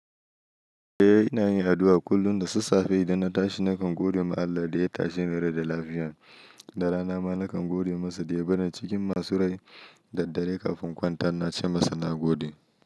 Eh ina yin addu'a kullum da sassafe idan na tashi nakan gode ma Allah da ya tashe ni rai da lafiya, da rana ma nakan gode masa da ya bar ni cikin masu rai da daddare kafin in kwanta ina ce masa na gode.